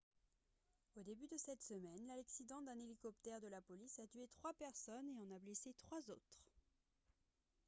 au début de cette semaine l'accident d'un hélicoptère de la police a tué trois personnes et en a blessé trois autres